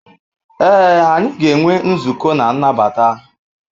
Ee, anyị ga-enwe nzukọ na nnabata.